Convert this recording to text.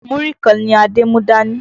Múrí kan ni Adé mú dání.